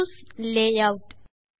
choose layout